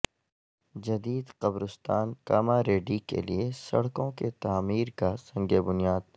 جدید قبرستان کاماریڈی کیلئے سڑکوں کے تعمیرکا سنگ بنیاد